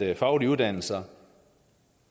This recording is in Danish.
at faglige uddannelser